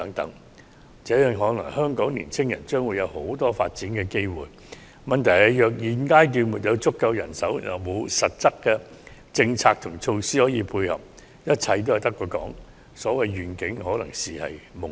如此看來，香港的年青人將有很多發展機會，問題是現階段若無足夠人手，又沒有實質政策和措施可作配合，一切均只是空談，所謂願景可能只屬夢境。